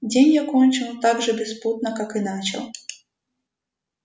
день я кончил так же беспутно как и начал